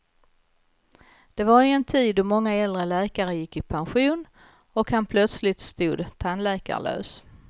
Det var i en tid då många äldre läkare gick i pension och man plötsligt stod tandläkarlös.